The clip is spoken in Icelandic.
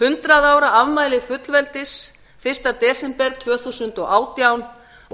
hundrað ára afmæli fullveldis fyrsta desember tvö þúsund og átján